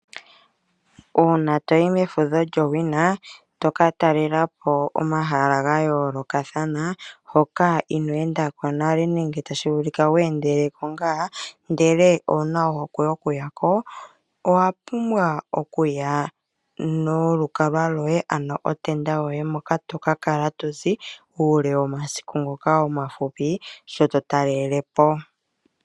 Uuna toyi mefudho lyowina toka talelapo komahala hoka ino wnda nale nenge tashi vulika we endeleko ngaa, ndele owuna ohokwe yoku yako. Owa pumbwa okuya nolu kalwa loye. Ano otenda yoye moka toka kala tozi uule womasiku ngoka omafupi shoto talelepo.